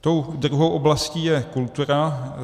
Tou druhou oblastí je kultura.